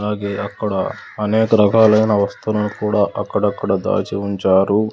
అలాగే అక్కడ అనేకరకాలైన వస్తువులను కూడా అక్కడక్కడ దాచి ఉంచారు.